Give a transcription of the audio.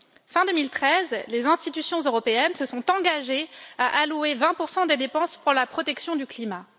Fin 2013, les institutions européennes se sont engagées à allouer 20 pour cent des dépenses pour la protection du climat.